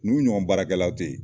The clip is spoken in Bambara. Ninnu ɲɔgɔn baarakɛlaw te yen